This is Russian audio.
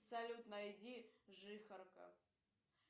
салют найди жихарка